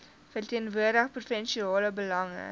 verteenwoordig provinsiale belange